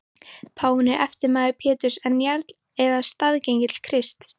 Páfinn er eftirmaður Péturs en jarl eða staðgengill Krists.